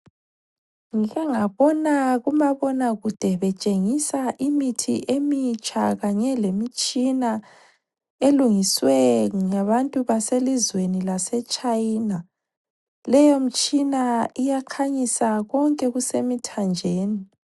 Ngihle ngabona kumabonakude betshengisa imithi emitsha kanye lemitshina elungiswe ngabantu baselizweni laseChina. Leyo mtshina iyakhanyisa konke okusemithanjeni.